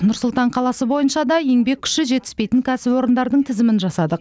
нұр сұлтан қаласы бойынша да еңбек күші жетіспейтін кәсіпорындардың тізімін жасадық